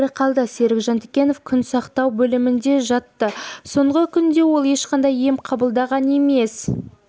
тірі қалды серік жантікенов күн жансақтау бөлімінде жатты соңғы күнде ол ешқандай ем қабылдаған емес